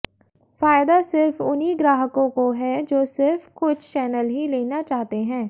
फायदा सिर्फ उन्हीं ग्राहकों को है जो सिर्फ कुछ चैनल ही लेना चाहते हैं